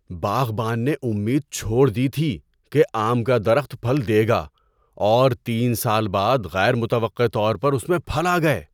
باغبان نے امید چھوڑ دی تھی کہ آم کا درخت پھل دے گا، اور تین سال بعد غیر متوقع طور پر اس میں پھل آ گئے۔